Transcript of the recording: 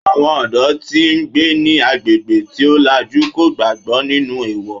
Àwọn ọ̀dọ́ tí ó ń gbé ní agbègbè tí ó làjú kò gbàgbó nínú èèwọ̀